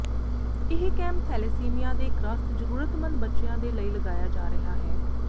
ਇਹ camp thalassemia ਦੇ ਗ੍ਰਸਤ ਜਰੂਰਮੰਤ ਬੱਚਿਆਂ ਦੇ ਲਈ ਲਗਾਇਆ ਜਾ ਰਿਹਾ ਹੈ